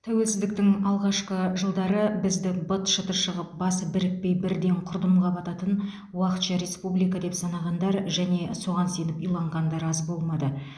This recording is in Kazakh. тәуелсіздіктің алғашқы жылдары бізді быт шыты шығып басы бірікпей бірден құрдымға бататын уақытша республика деп санағандар және соған сеніп иланғандар аз болмады